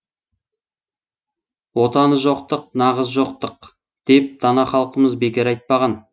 отаны жоқтық нағыз жоқтық деп дана халқымыз бекер айтпаған